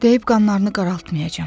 Deyib qanlarını qaraltmayacam.